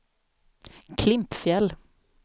Klimpfjäll